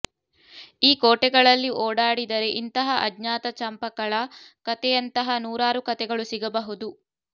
ಈ ಕೋಟೆಗಳಲ್ಲಿ ಓಡಾಡಿದರೆ ಇಂತಹ ಅಜ್ಞಾತ ಚಂಪಕಳ ಕತೆಯಂತಹ ನೂರಾರು ಕತೆಗಳು ಸಿಗಬಹುದು